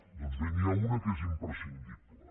doncs bé n’hi ha una que és imprescindible